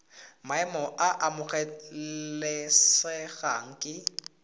maemo a a amogelesegang ke